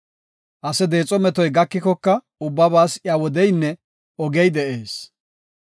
Ase deexo metoy gakikoka ubbabaas wodeynne ogey de7ees.